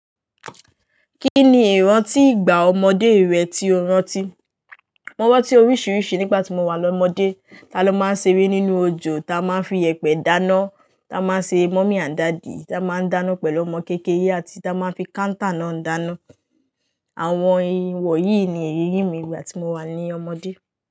Kí ni ìrántí ìgbà ọmọdé rẹ tí o rántí? Mo rántí oríṣiríṣi nígbà tí mo wà lọ́mọdé. Ta ló máa ń ṣeré nínú òjò, ta máa ń fi yèpẹ̀ dáná, ta máa ń ṣe mummy and daddy, ta máa ń dáná pẹ̀lú ọmọ kéékèèré àti ta máa ń fi counter náà dáná. Àwọn iwọ̀nyìí ni èyí ìmi nígbà tí mo wà ní ọmọdé.